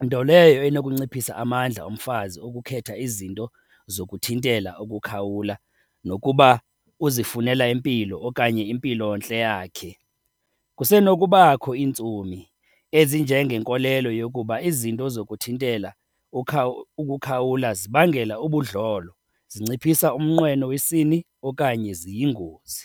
nto leyo enokunciphisa amandla omfazi ukukhetha izinto zokuthintela ukukhawula nokuba uzifunela impilo okanye impilontle yakhe. Kusenokubakho iintsomi ezinjengenkolelo yokuba izinto zokuthintela ukukhawula zibangela ubudlolo, zinciphisa umnqweno wesini okanye ziyingozi.